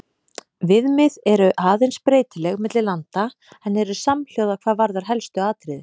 Viðmið eru aðeins breytileg milli landa en eru samhljóða hvað varðar helstu atriði.